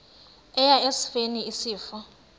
eya esifeni isifo